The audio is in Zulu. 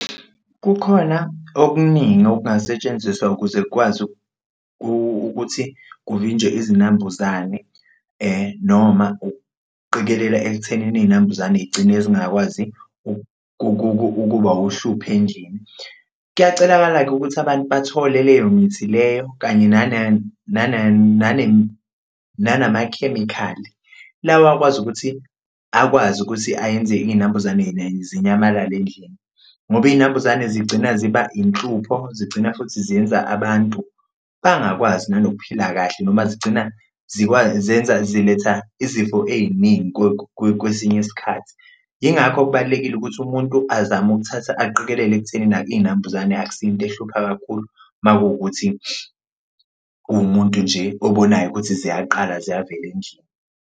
Kukhona okuningi okungasetshenziswa ukuze kwazi ukuthi kuvinjwe izinambuzane noma ukuqikelela ekuthenini iy'nambuzane y'gcine zingakwazi ukuba uhlupho endlini. Kuyacelakala-ke ukuthi abantu bathole leyo mithi leyo, kanye nanamakhemikhali lawa akwazi ukuthi akwazi ukuthi ayenze iy'nambuzane zinyamalale endlini ngoba iy'nambuzane zigcina ziba inhlupho, zigcina futhi ziyenza abantu bangakwazi nokuphila kahle noma zigcina ziletha izifo ey'ningi kwesinye isikhathi. Yingakho kubalulekile ukuthi umuntu azame ukuthatha aqikelele ekuthenini iy'nambuzane akusiyo into ehlupha kakhulu makuwukuthi uwumuntu nje obonayo ukuthi ziyaqala ziyavela endlini.